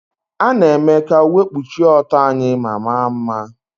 A na-eme ka uwe kpuchie ọtọ anyị ma maa mma.